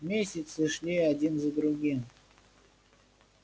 месяцы шли один за другим